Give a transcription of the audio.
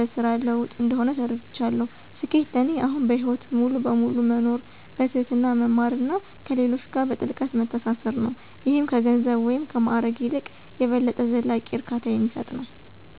(በስራ ለውጥ) እንደሆነ ተረድቻለሁ። ስኬት ለእኔ አሁን በህይወት ሙሉ በሙሉ መኖር፣ በትህትና መማር እና ከሌሎች ጋር በጥልቀት መተሳሰር ነው - ይህም ከገንዘብ ወይም ማዕረግ ይልቅ የበለጠ ዘላቂ እርካታ የሚሰጥ ነው።